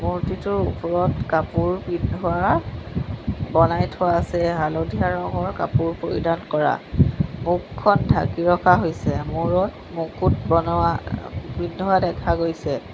মূৰ্তিটোৰ ওপৰত কাপোৰ পিন্ধোৱা বনাই থোৱা আছে হালধীয়া ৰঙৰ কাপোৰ পৰিধান কৰা মুখখন ঢাকি ৰখা হৈছে মূৰত মুকুট বনোৱা আ পিন্ধোৱা দেখা গৈছে।